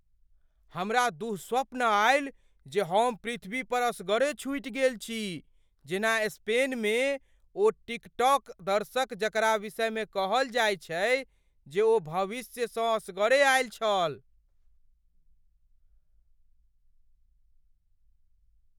हमरा दुःस्वप्न आयल जे हम पृथ्वी पर असगरे छुटि गेल छी जेना स्पेन मे ओ टिकटॉक दर्शक जकरा विषयमे कहल जायत छै जे ओ भविष्यसँ असगरे आयल छल।